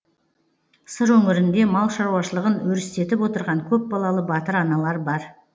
сыр өңірінде мал шаруашылығын өрістетіп отырған көпбалалы батыр аналар бар